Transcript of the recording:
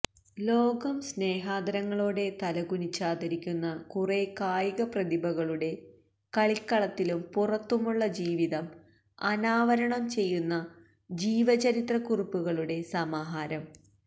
ലോകം സ്നേഹാദരങ്ങളോടെ തലകുനിച്ചാദരിക്കുന്ന കുറെ കായികപ്രതിഭകളുടെ കളിക്കളത്തിലും പുറത്തുമുള്ള ജീവിതം അനാവരണം ചെയ്യുന്ന ജീവചരിത്രക്കുറിപ്പുകളുടെ സമാഹാരം